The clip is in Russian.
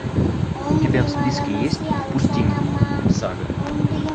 у тебя в списке есть впусти меня сага